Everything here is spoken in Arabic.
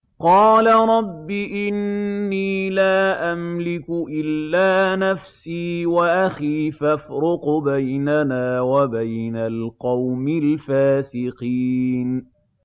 قَالَ رَبِّ إِنِّي لَا أَمْلِكُ إِلَّا نَفْسِي وَأَخِي ۖ فَافْرُقْ بَيْنَنَا وَبَيْنَ الْقَوْمِ الْفَاسِقِينَ